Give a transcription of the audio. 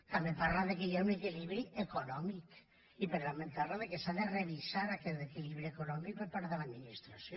també parla del fet que hi ha un equilibri econòmic i per tant també parla del fet que s’ha de revisar aquest equilibri econòmic per part de l’administració